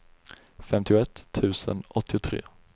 femtioett tusen åttiotre